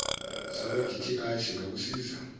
sakwa dti singakusiza